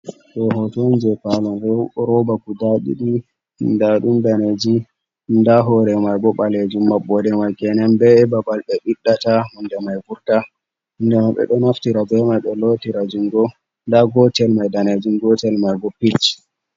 Ɗo hoto on jei paune bo roba guda ɗiɗi. Nda ɗum daneeji, nda hoore mai bo ɓaleejum, maɓɓode mai kenen. Be babal ɓe ɓiɗɗata hunde mai vurta. Hunde mai ɓe ɗo naftira be mai ɓe lootira jungo. Nda gotel mai danejum, gotel mai bo pich.